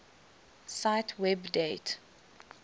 cite web date